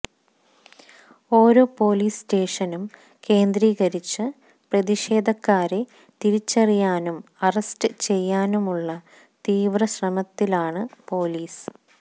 ഓരോ പൊലീസ് സ്റ്റേഷനും കേന്ദ്രീകരിച്ച് പ്രതിഷേധക്കാരെ തിരിച്ചറിയാനും അറസ്റ്റ് ചെയ്യാനുമുളള തീവ്ര ശ്രമത്തിലാണ് പൊലീസ്